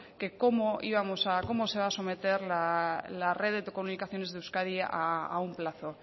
que cómo íbamos cómo se va a someter la red de comunicaciones de euskadi a un plazo